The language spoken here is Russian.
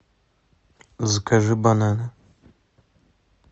закажи бананы